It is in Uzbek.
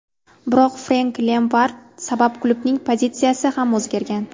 Biroq Frenk Lempard sabab klubning pozitsiyasi ham o‘zgargan.